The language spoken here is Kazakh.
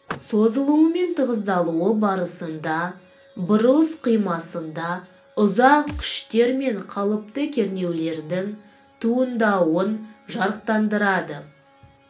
созылуы мен тығыздалуы барысында брус қимасында ұзақ күштер мен қалыпты кернеулердің туындауын жарықтандырады